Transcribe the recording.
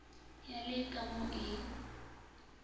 ya le ka mo e